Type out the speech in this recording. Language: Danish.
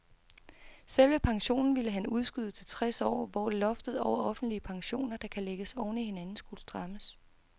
Selve pensionen ville han udskyde til tres år, hvor loftet over offentlige pensioner, der kan lægges oven i hinanden, skulle strammes.